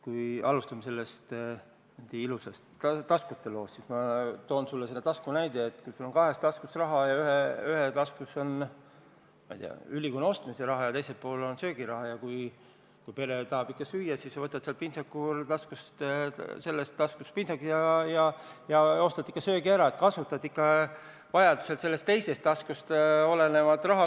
Kui alustame sellest ilusast taskute loost, siis ma toon sulle sellise näite: kui sul on kahes taskus raha ja ühes taskus on, ma ei tea, ülikonna ostmise raha ja teises on söögiraha ja kui pere tahab ikka süüa, siis võtad pintsakuraha taskust ja ostad söögi ära, st kasutad vajaduse korral teises taskust olevat raha.